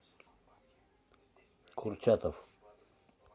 курчатов